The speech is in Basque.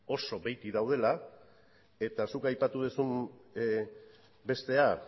oso behetik daudela eta zuk aipatu duzun bestea